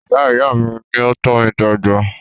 Ìyá ìyá mí ní o tọ́ mí dàgbà.